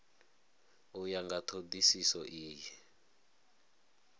u ya nga thodisiso iyi